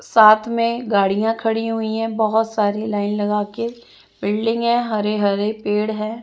साथ में गाड़ियाँ खड़ी हुई है बहुत सारी लाइन लगा के बिल्डिंग है हरे हरे पेड़ है।